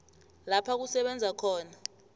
lapha kusebenza khona